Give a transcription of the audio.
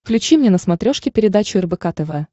включи мне на смотрешке передачу рбк тв